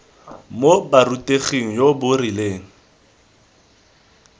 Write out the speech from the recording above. mo boruteging jo bo rileng